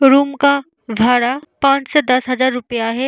Room का भाड़ा पाँच से दस हज़ार रुपया है।